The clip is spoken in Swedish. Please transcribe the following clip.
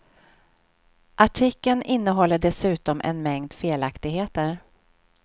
Artikeln innehåller dessutom en mängd felaktigheter.